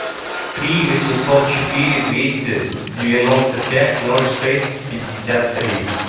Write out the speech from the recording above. три восемьсот четыре двести девяносто пять ноль шесть пятьдесят три